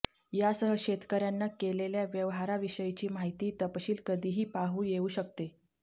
यासह शेतकऱ्यांना केलेल्या व्यवहाराविषयीची माहिती तपशील कधीही पाहू येऊ शकते